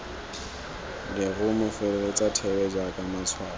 lerumo feleletsa thebe jaaka matshwao